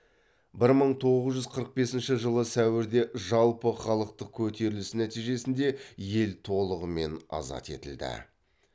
бір мың тоғыз жүз қырық бесінші жылы сәуірде жалпыхалықтық көтеріліс нәтижесінде ел толығымен азат етілді